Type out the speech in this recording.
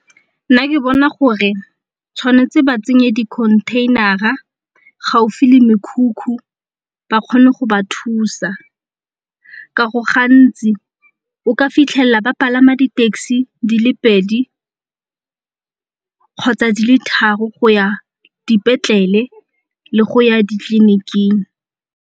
Nna ke bona gore tshwanetse ba tsenye di-container-a gaufi le mekhukhu ba kgone go ba thusa ka go gantsi o ka fitlhela ba palama di-taxi di le pedi kgotsa di le tharo go ya dipetlele le go ya ditleliniking.